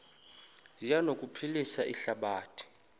zi anokuphilisa ihlabathi